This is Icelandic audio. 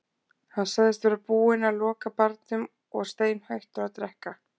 Hann sagðist vera búinn að loka barnum og steinhættur að drekka.